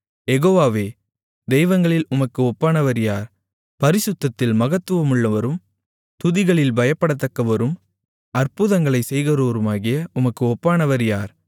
யெகோவாவே தெய்வங்களில் உமக்கு ஒப்பானவர் யார் பரிசுத்தத்தில் மகத்துவமுள்ளவரும் துதிகளில் பயப்படத்தக்கவரும் அற்புதங்களைச் செய்கிறவருமாகிய உமக்கு ஒப்பானவர் யார்